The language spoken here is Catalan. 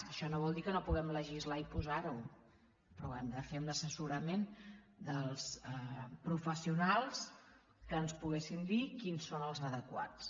això no vol dir que no puguem legislar i posar ho però ho hem de fer amb l’assessorament dels professionals que ens puguin dir quins són els adequats